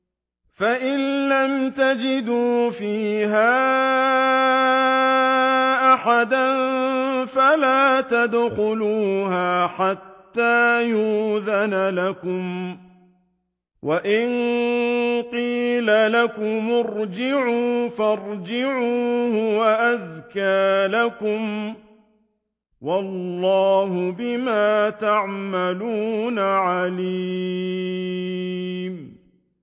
فَإِن لَّمْ تَجِدُوا فِيهَا أَحَدًا فَلَا تَدْخُلُوهَا حَتَّىٰ يُؤْذَنَ لَكُمْ ۖ وَإِن قِيلَ لَكُمُ ارْجِعُوا فَارْجِعُوا ۖ هُوَ أَزْكَىٰ لَكُمْ ۚ وَاللَّهُ بِمَا تَعْمَلُونَ عَلِيمٌ